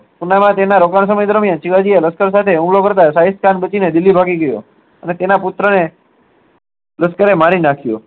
અને તેના પુત્ર ને લશ્કરે મારી નાખ્યો